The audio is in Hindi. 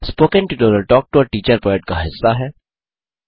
spoken tutorial talk to a teacher project का हिस्सा है